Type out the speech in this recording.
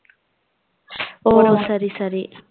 ஓ சரி சரி